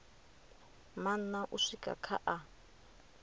maṋa u swika kha a